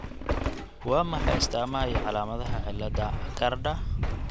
Waa maxay astaamaha iyo calaamadaha cillada Achardka?